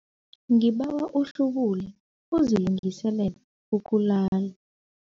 Ngibawa uhlubule uzilungiselele ukulala.